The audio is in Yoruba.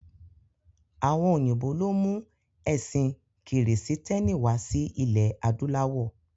Àwọn òyìnbó ló mú ẹ̀sín kìrìsítẹ́nì wá sí ilé adúláwọ̀.